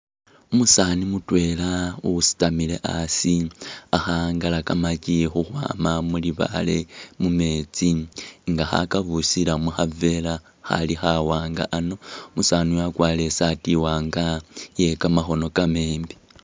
Umusaani mutwela usitamile asi, ali kho angala kamakyi khukhwaama mu libaale mumeetsi nga ha kabusila mu khaveela khali khawanga ano, umusaani uyu wakwarire isaati iwaanga iye kamakhono kamaleeyi.